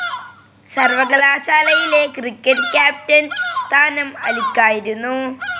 സർവകലാശാലയിലെ cricket captain സ്ഥാനം അലിക്കായിരുന്നു.